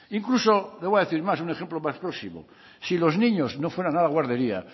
incluso le voy a decir más un ejemplo más próximo si los niños no fueran a la guardería